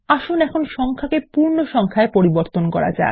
আসুন এখন সংখ্যাকে পূর্ণসংখ্যা পরিবর্তন করা যাক